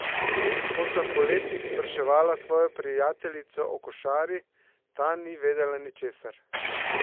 Ko sem po letih spraševala svojo prijateljico o košari, ta ni vedela ničesar.